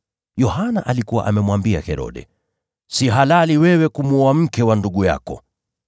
Yohana alikuwa amemwambia Herode, “Si halali kwako kuwa na mke wa ndugu yako.”